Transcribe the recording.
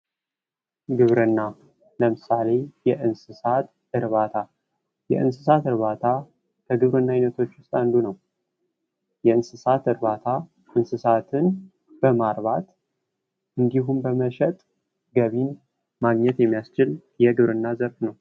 ግብርና ለምሳሌ፦ የእንስሳት እርባታ፤ የእንስሳት እርባታ ከግብርና ውስጥ አንዱ ነው። የእንስሳት እርባታ እንስሳትን በማርባት እንዲሁም በመሸጥ ገቢን ማግኘት የሚያስችል የግብርና ዘርፍ ነው።